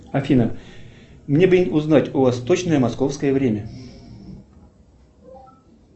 афина мне бы узнать у вас точное московское время